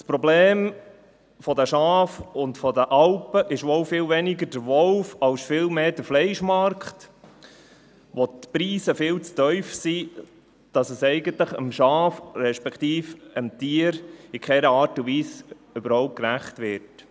Das Problem der Schafe und der Alpen ist wohl viel weniger der Wolf als vielmehr der Fleischmarkt, wo die Preise viel zu tief sind, sodass dies eigentlich dem Schaf respektive dem Tier in keiner Art und Weise gerecht wird.